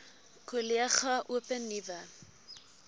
kollege open nuwe